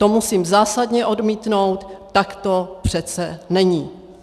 To musím zásadně odmítnout, tak to přece není.